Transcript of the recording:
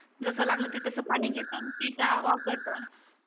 जस लागल ते तस पाणी घेतात पिता वापरतात